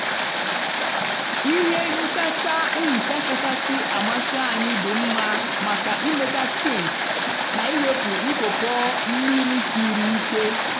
ihe nchacha nhicha kachasị amasị anyị dị mma maka ịmecha sinks na iwepu ntụpọ mmiri siri ike.